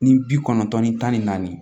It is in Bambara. Ni bi kɔnɔntɔn ni tan ni naani